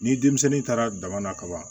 Ni denmisɛnnin taara dama na ka ban